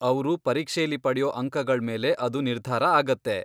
ಅವ್ರು ಪರೀಕ್ಷೆಲಿ ಪಡೆಯೋ ಅಂಕಗಳ್ಮೇಲೆ ಅದು ನಿರ್ಧಾರ ಆಗತ್ತೆ.